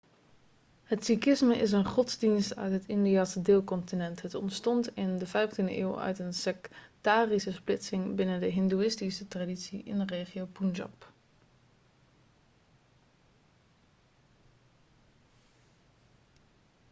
het sikhisme is een godsdienst uit het indiase deelcontinent het ontstond in de 15e eeuw uit een sektarische splitsing binnen de hindoeïstische traditie in de regio punjab